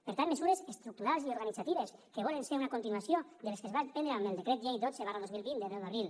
per tant mesures estructurals i organitzatives que volen ser una continuació de les que es van prendre amb el decret llei dotze dos mil vint de deu d’abril